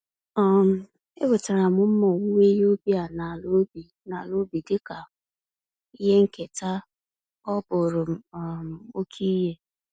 um Enwetara m mma owuwe ihe ubi a na ala ubi na ala ubi dịka ihe nketa—ọ bụrụm um oke ihe.